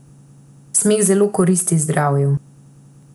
Smeh zelo koristi zdravju.